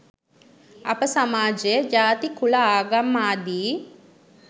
අප සමාජය ජාති කුල ආඟම් ආදී